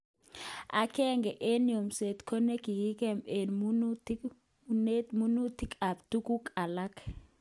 Agenge eng yomset ko nekigeme eng nunetab minutik ak tuguk alak